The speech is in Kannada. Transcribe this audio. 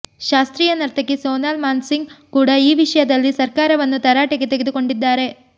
ಶಾಸ್ತ್ರೀಯ ನರ್ತಕಿ ಸೋನಾಲ್ ಮಾನ್ಸಿಂಗ್ ಕೂಡ ಈ ವಿಷಯದಲ್ಲಿ ಸರ್ಕಾರವನ್ನು ತರಾಟೆಗೆ ತೆಗೆದುಕೊಂಡಿದ್ದಾರೆ